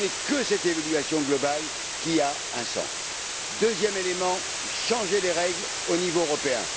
Ce n'est que cette évaluation globale qui a un sens. Deuxième élément, le changement des règles au niveau européen.